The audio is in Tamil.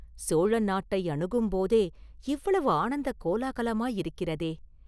சோழ நாட்டை அணுகும்போதே இவ்வளவு ஆனந்தக் கோலாகலமாயிருக்கிறதே?